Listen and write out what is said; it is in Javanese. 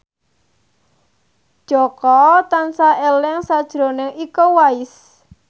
Jaka tansah eling sakjroning Iko Uwais